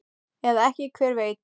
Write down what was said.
Eða ekki, hver veit?